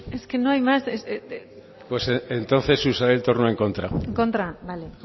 es que no hay más pues entonces usaré el turno en contra en contra vale